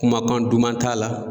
Kumakan duman t'a la